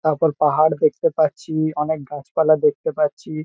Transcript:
তারপর পাহাড় দেখতে পাচ্ছি। অনেক গাছপালা দেখতে পাচ্ছি।